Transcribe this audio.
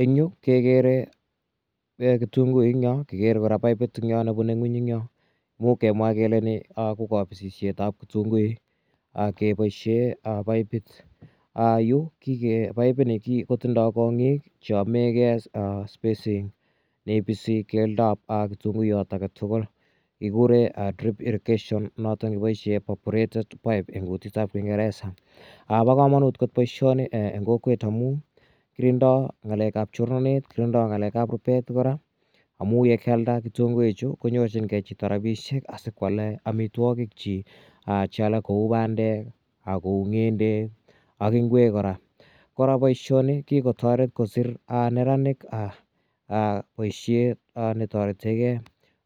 Eng' yu kekere kitunguik eng' yo, kikere kora paipit nepune ng'weny eng' yo. Imuch kemwa kele ni ko kapisishet ap kitunguik kepaishe paipit. Yu paipini kotindai kong'iik che yame gei spacing ne ipisi keldo ap kitunguiyat age tugul. Kikure drip irrigation notok ne kipaishe perforated pipe eng' kutit ap kingeresa. Pa kamanut kot poishoni eng' kokwet amu kirindai ng'alek ap chornatet, kirindai ng'alek ap rupet kora amu ye kialda kitunguichu ko nyorchingei chito rapishek asi ko ale amitwogikchik che alak kou pandek, kou ng'endek ak ngwek kora. Kora poishoni kikotaret kosir neraik poishet ne tarete gei